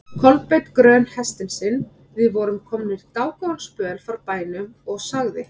Kolbeinn grön hestinn sinn, við vorum komnir dágóðan spöl frá bænum, og sagði